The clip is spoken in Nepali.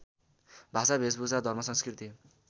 भाषा भेषभूषा धर्मसंस्कृति